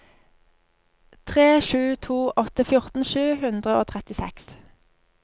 tre sju to åtte fjorten sju hundre og trettiseks